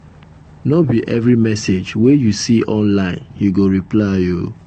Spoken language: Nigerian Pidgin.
no be every message wey you see online you go reply o.